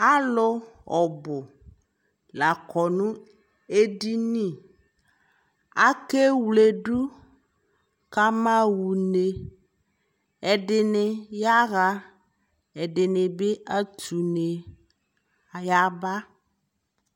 alʋ ɔbʋ lakɔ nʋ ɛdini, akɛ wlɛdu kama wʋnɛ, ɛdini ayaa ɛdinibi atʋ ʋnɛ kʋaya ba